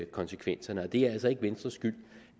konsekvenserne og det er altså ikke venstres skyld